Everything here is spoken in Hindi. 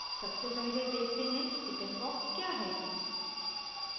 सबसे पहले देखते हैं chickenpox क्या है